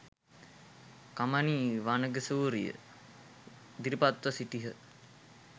කමනි වනිගසූරිය ඉදිරිපත්ව සිටියහ